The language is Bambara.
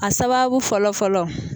A sababu fɔlɔ fɔlɔ